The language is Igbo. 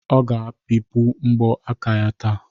Ọ ga-ebipụ mbọ aka ya taa